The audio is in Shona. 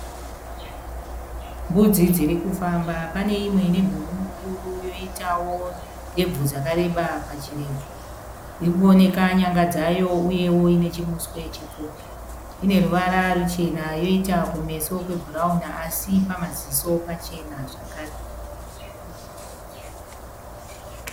Mbudzi dzirikufamba pane imwe inemhumhu mukuru yoitawo ndebvu dzakareba pachirebvu irikuoneka nyanga dzayo uyewo inechimuswe chipfupi ineruvara ruchena yoita kumeso kwebhurauni asi pamaziso pachena zvakare